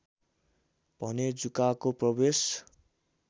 भने जुकाको प्रवेश